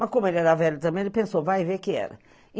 Mas como ele era velho também, ele pensou, vai e vê que era.